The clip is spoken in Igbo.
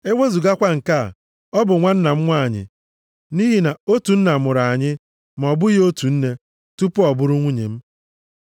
Ewezugakwa nke a, ọ bụ nwanna m nwanyị, nʼihi na otu nna mụrụ anyị, ma ọ bụghị otu nne, tupu ọ bụrụ nwunye m.